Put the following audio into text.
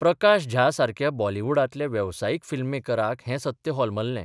प्रकाश झा सारक्या बॉलिवुडांतल्या वेवसायीक फिल्ममेकराक हें सत्य होलमल्लें.